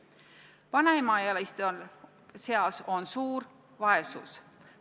Vanemaealiste seas on suur vaesus.